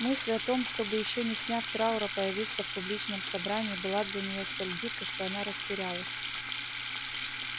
мысль о том чтобы ещё не сняв траура появиться в публичном собрании была для неё столь дикой что она растерялась